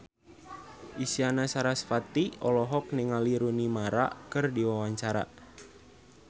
Isyana Sarasvati olohok ningali Rooney Mara keur diwawancara